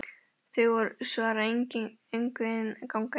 Þau svara engu en ganga inn fyrir.